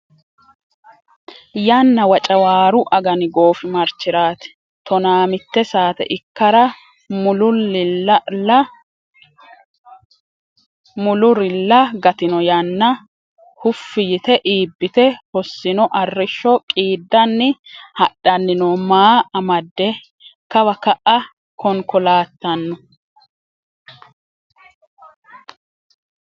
Yanna Wocawaaru agani goofimarchiraati Tonaamitte saate ikkara mullurilla gatino yana Huffi yite iibbite hossino arrishsho qiiddanni hadhanni no maa amadde kawa ka’a konkolaattanno?